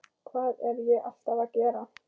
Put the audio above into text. Hvað er ég alltaf að gera?